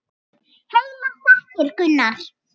Heilar þakkir, Gunnar!